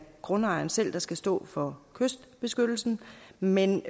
grundejeren selv der skal stå for kystbeskyttelsen men